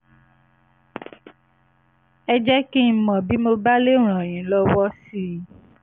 ẹ jẹ́ kí n mọ̀ bí mo bá lè ràn yín lọ́wọ́ sí i